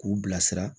K'u bilasira